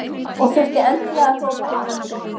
Og þurfti endilega að hrópa hæ!